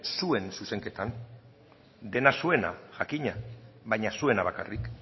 zuen zuzenketan dena zuena jakina baina zuena bakarrik